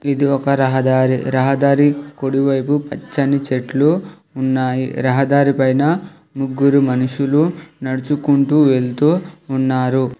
ఇది ఒక రహదారి రహదారి కుడివైపు పచ్చని చెట్లు ఉన్నాయి రహదారి పైన ముగ్గురు మనుషులు నడుచుకుంటూ వెళ్తూ ఉన్నారు.